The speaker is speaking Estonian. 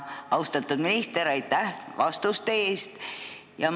Austatud minister, aitäh vastuste eest!